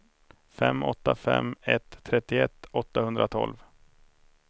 fem åtta fem ett trettioett åttahundratolv